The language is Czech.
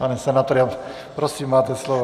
Pane senátore, prosím, máte slovo.